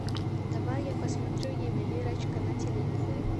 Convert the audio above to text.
давай я посмотрю ювелирочка на телевизоре